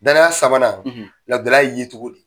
Danaya sabanan lagƐlaƐya ye tugun